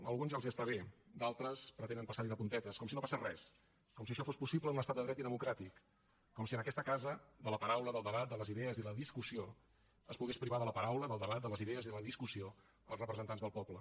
a alguns ja els està bé d’altres pretenen passar hi de puntetes com si no passés res com si això fos possible en un estat de dret i democràtic com si en aquesta casa de la paraula del debat de les idees i de la discussió es pogués privar de la paraula del debat de les idees i de la discussió els representats del poble